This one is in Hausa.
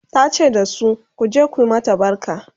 ta ce dasu " ku je ku mata barka!"